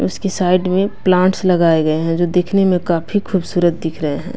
उसकी साइड में प्लांट्स लगाए गए हैं जो दिखने में काफी खूबसूरत दिख रहे हैं।